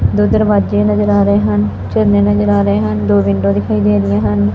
ਦੋ ਦਰਵਾਜੇ ਨਜ਼ਰ ਆ ਰਹੇ ਹਨ ਝੰਡੇ ਨਜ਼ਰ ਆ ਰਹੇ ਹਨ ਦੋ ਵਿੰਡੋ ਦਿਖਾਈ ਦੀਆਂ ਹਨ।